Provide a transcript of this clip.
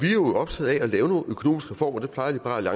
er jo optaget af at lave nogle økonomisk reformer det plejer liberal